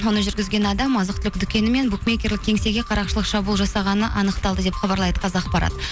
оны жүргізген адам азық түлік дүкені мен букмекерлік кеңсеге қарақшылық шабуыл жасағаны анықталды деп хабарлайды қазақпарат